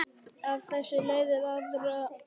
Af þessu leiðir aðra reglu